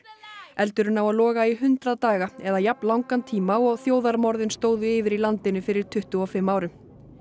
eldurinn á að loga í hundrað daga eða jafn langan tíma og þjóðarmorðin stóðu yfir í landinu fyrir tuttugu og fimm árum